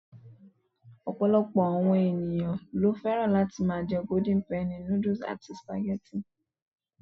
Ọ̀pọ̀lọpọ̀ àwọn ènìyàn lo fẹ́ràn láti ma jẹ́ Golden Penny noodles and spaghetti